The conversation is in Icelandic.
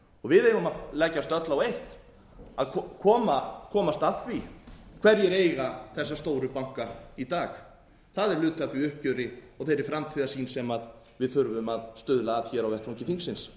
við eigum að leggjast öll á eitt að komast að því hverjir eiga þessa stóru banka í dag það er hluti af því uppgjöri og þeirri framtíðarsýn sem við þurfum að stuðla að hér á vettvangi þingsins